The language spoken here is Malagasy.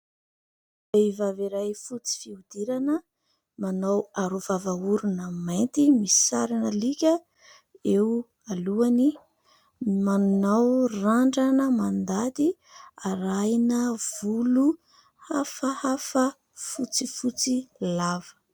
Vehivavy iray fotsy fihodirana, manao arovava-orona mainty misy sarin'alika eo alohany. Manao randrana mandady arahina volo hafahafa fotsifotsy lava.